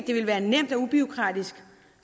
det ville være nemt og ubureaukratisk